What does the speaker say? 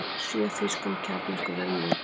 Sjö þýskum kjarnorkuverum lokað